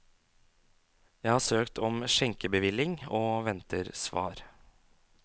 Jeg har søkt om skjenkebevilling, og venter svar.